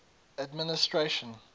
administration